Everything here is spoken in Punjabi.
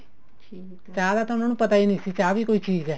ਚਾਹ ਦਾ ਤਾਂ ਉਹਨਾ ਨੂੰ ਪਤਾ ਹੀ ਨਹੀਂ ਸੀ ਵੀ ਚਾਹ ਵੀ ਕੋਈ ਚੀਜ਼ ਹੈ